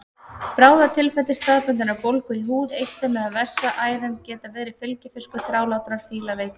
Bráðatilfelli staðbundinnar bólgu í húð, eitlum eða vessaæðum geta verið fylgifiskur þrálátrar fílaveiki.